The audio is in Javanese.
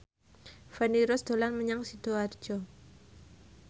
Feni Rose dolan menyang Sidoarjo